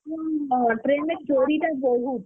ହଁ train ରେ ଚୋରି ଟା ବହୁତ୍,